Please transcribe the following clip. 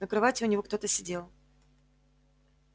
на кровати у него кто-то сидел